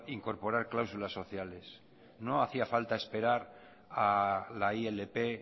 incorporar cláusulas sociales no hacía falta esperar a la ilp